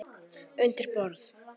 Undir borð.